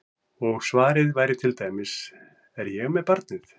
Og svarið væri til dæmis: Er ég með barnið?